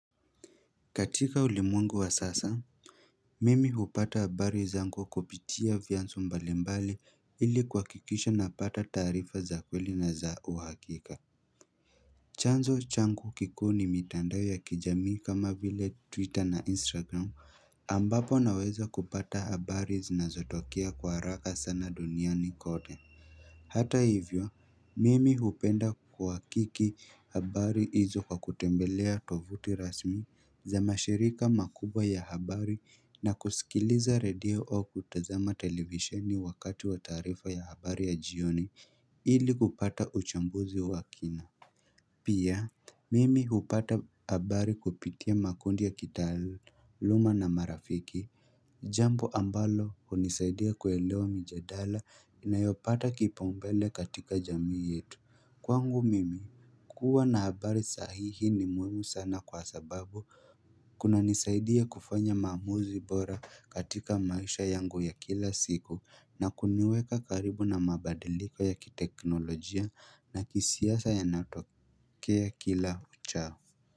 Katika ulimwengu wa sasa, mimi hupata habari zangu kupitia vyansu mbalimbali ili kuhakikisha napata tarifa za kweli na za uhakika. Chanzo changu kikuu ni mitandao ya kijamii kama vile twitter na instagram ambapo naweza kupata habari zinazotokea kwa haraka sana duniani kote. Hata hivyo, mimi hupenda kwa kiki habari hizo kwa kutembelea tovuti rasmi za mashirika makubwa ya habari na kusikiliza radio au kutazama televisheni wakati wa tarifa ya habari ya jioni ili kupata uchambuzi wakina. Pia, mimi hupata habari kupitia makundi ya kitaluma na marafiki. Jambo ambalo hunisaidia kuelewa mijadala inayopata kipaumbele katika jamii yetu. Kwangu mimi, kuwa na habari sahihi ni muhimu sana kwa sababu kunanisaidia kufanya maamuzi bora katika maisha yangu ya kila siku na kuniweka karibu na mabadiliko ya kiteknolojia na kisiasa yanatokea kila uchao.